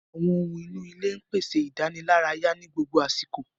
Àwọn ohun inú ilé ń pèsè ìdánilárayá ní gbogbo àsìkò